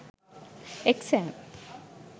exam